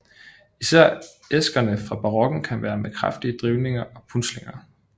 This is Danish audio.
Især æskerne fra barokken kan være med kraftige drivninger og punslinger